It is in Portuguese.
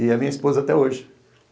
E é minha esposa até hoje.